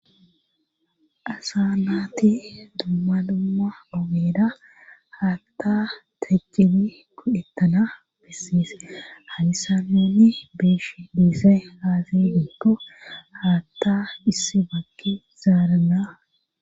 asa naati dumma dumma ogera haatta teqidi go'etana bissis haysan tani be'ishn dizay aaze diiko haatta issi bakki zaarana